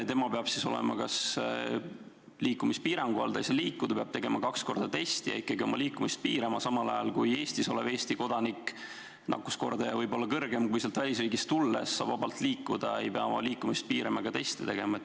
Tema peab olema liikumispiirangu all, ta ei saa liikuda, ta peab tegema kaks korda testi ja ikkagi oma liikumist piirama, samal ajal kui Eestis olev Eesti kodanik – nakkuskordaja võib siin olla kõrgem kui seal välisriigis – saab vabalt liikuda, ei pea oma liikumist piirama ega teste tegema.